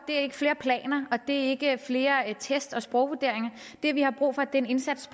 flere planer og det er ikke flere test og sprogvurderinger det vi har brug for er en indsats